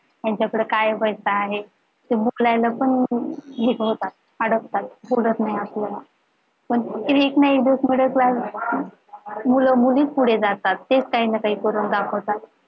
यांच्याकडे काय पैसा आहे ते उकळायला पण निभावतात सोडत नाही आपल्याला पण एक ना एक दिवस middle class मुले मुलीचं पुढे जातात तेच काही ना काही करून दाखवतात